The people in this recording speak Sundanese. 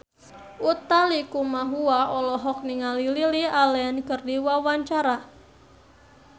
Utha Likumahua olohok ningali Lily Allen keur diwawancara